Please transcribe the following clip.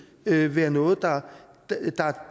kan være noget der